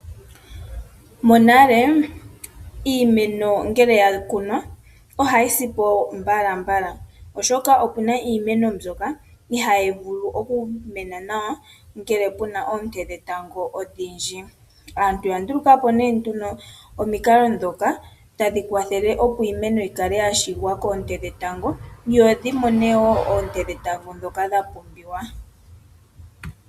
Monale iimeno ngele ya kunwa ohayi si po mbalambala oshoka okuna iimeno mbyoka ihayi vulu oku mena nawa ngele kuna oonte dhetango odhindji. Aantu oya ndulukapo ne nduno omikalo dhoka tadhi kwathele opo iimeno yi kale yashigikwa koonte dhetango yo dhimone oonte dhetango dhoka pumbiwa.